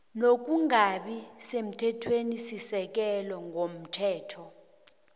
nokungabi semthethwenisisekelo komthetho